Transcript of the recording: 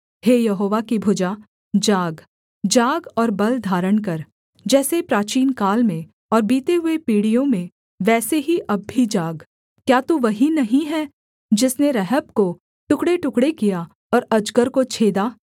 हे यहोवा की भुजा जाग जाग और बल धारण कर जैसे प्राचीनकाल में और बीते हुए पीढ़ियों में वैसे ही अब भी जाग क्या तू वही नहीं है जिसने रहब को टुकड़ेटुकड़े किया और अजगर को छेदा